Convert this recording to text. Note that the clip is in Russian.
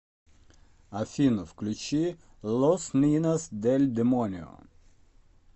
афина включи лос нинос дель демонио